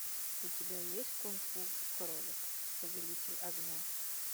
у тебя есть кунг фу кролик повелитель огня